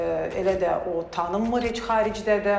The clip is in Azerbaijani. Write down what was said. elə də o tanınmır heç xaricdə də.